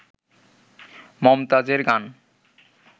মমতাজ এর গান